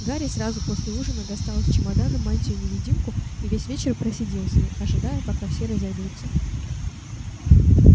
гарри сразу после ужина достал из чемодана мантию-невидимку и весь вечер просидел с ней ожидая пока все разойдутся